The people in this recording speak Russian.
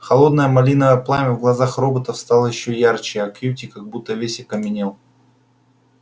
холодное малиновое пламя в глазах роботов стало ещё ярче а кьюти как будто весь окаменел